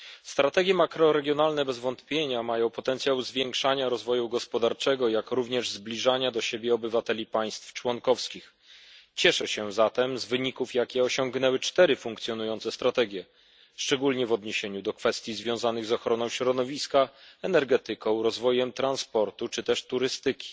Strategie makroregionalne bez wątpienia mają potencjał zwiększania rozwoju gospodarczego, jak również zbliżania do siebie obywateli państw członkowskich. Cieszę się zatem z wyników, jakie osiągnęły cztery funkcjonujące strategie, szczególnie w odniesieniu do kwestii związanych z ochroną środowiska, energetyką, rozwojem transportu czy też turystyki.